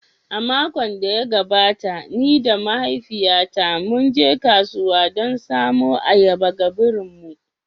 A makon da ya gabata, ni da mahaifiyata mun je kasuwa don samo ayaba ga birin mu